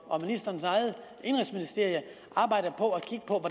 og ministerens eget indenrigsministerium arbejder på at kigge på